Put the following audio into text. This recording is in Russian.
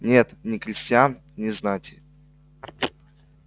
нет ни крестьян ни знати